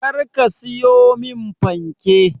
Kar ka siyo min fanke.